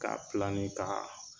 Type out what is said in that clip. K'a ka